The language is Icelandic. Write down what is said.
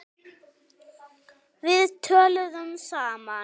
Við töluðum saman.